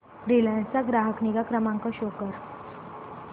Reliance चा ग्राहक निगा क्रमांक शो कर